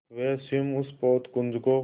वे स्वयं उस पोतपुंज को